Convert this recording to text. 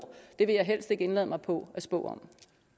vil jeg helst ikke indlade mig på at spå